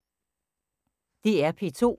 DR P2